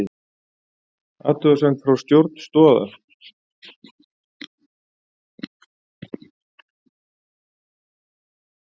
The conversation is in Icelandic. Athugasemd frá stjórn Stoða